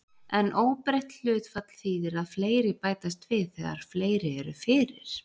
En óbreytt hlutfall þýðir að fleiri bætast við þegar fleiri eru fyrir.